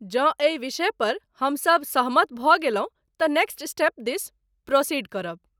जँ एहि विषयपर हम सब सहमत भऽ गेलहुँ तँ नेक्स्ट स्टेप दिस प्रोसीड करब।